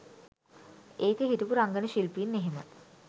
ඒකෙ හිටපු රංගන ශිල්පීන් එහෙම